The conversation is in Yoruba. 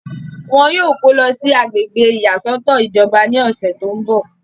wọn yóò kó lọ sí agbègbè ìyàsọ́tọ̀ ìjọba ní ọ̀sẹ̀ tó ń bọ̀